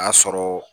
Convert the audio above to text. A y'a sɔrɔ